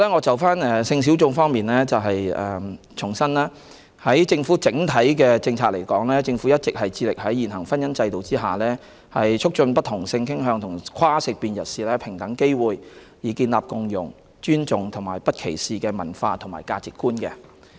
就性小眾方面，我們重申在整體政策下，政府一直致力在現行婚姻制度下，促進不同性傾向和跨性別人士享有平等機會，以建立共融、尊重和不歧視的文化和價值觀。